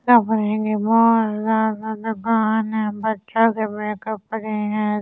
भगोआन बच्‍चों के मेकअप कर रही हैं ए सि--